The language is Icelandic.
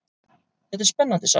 Þetta er spennandi saga.